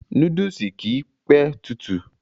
Núdùsù kìí p tutù.